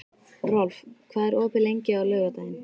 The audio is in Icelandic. Rolf, hvað er opið lengi á laugardaginn?